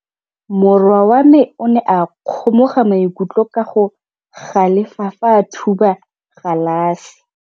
Morwa wa me o ne a kgomoga maikutlo ka go galefa fa a thuba galase.